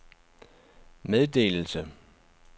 meddelelse